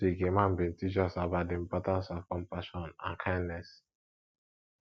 last week imam bin teach us about di importance of compassion and kindness